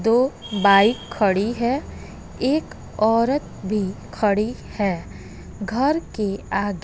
दो बाइक खड़ी है एक औरत भी खड़ी है घर के आगे।